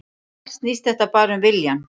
Allt snýst þetta bara um viljann